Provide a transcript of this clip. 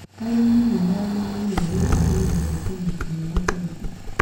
Arĩmi nĩmagĩrĩrwo gũthuthuria thũkũma ciao kaingĩ.